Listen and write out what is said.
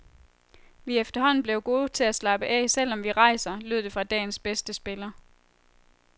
Vi er efterhånden blevet gode til at slappe af, selv om vi rejser, lød det fra dagens bedste spiller.